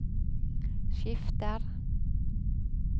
skifter